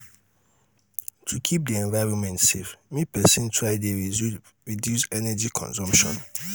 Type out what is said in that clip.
to keep di environment safe make persin try de reduce energy consumption